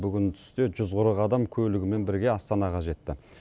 бүгін түсте жүз қырық адам көлігімен бірге астанаға жетті